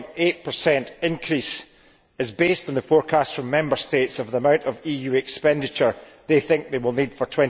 6.8 increase is based on the forecast from Member States of the amount of EU expenditure they think they will need for